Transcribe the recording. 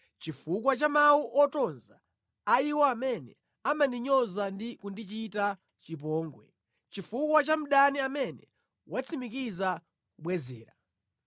chifukwa cha mawu otonza a iwo amene amandinyoza ndi kundichita chipongwe, chifukwa cha mdani amene watsimikiza kubwezera.